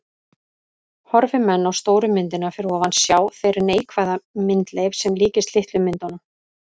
Horfi menn á stóru myndina fyrir ofan sjá þeir neikvæða myndleif sem líkist litlu myndunum.